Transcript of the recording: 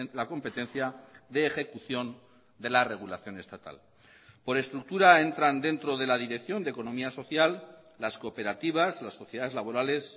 la competencia de ejecución de la regulación estatal por estructura entran dentro de la dirección de economía social las cooperativas las sociedades laborales